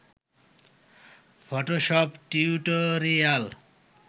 Photoshop tutorial